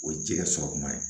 O ye jɛ sɔrɔma ye